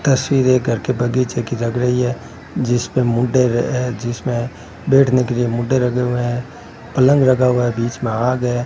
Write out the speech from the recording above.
तस्वीर एक घर के बगीचे की लग रही है जिसपे मूढ़ेर अ जिसमें बैठने के लिए मूढ़े रखे हुए हैं पलंग रखा हुआ है बीच में आग है।